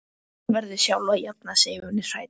Hún verður sjálf að jafna sig ef hún er hrædd.